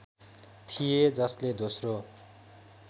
थिए जसले दोस्रो